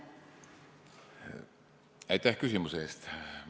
Aitäh küsimuse eest!